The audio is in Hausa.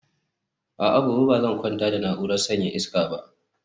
a'a, gobe ba zan kwana da na'urar sanyaya iska ba